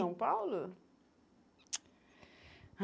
São Paulo?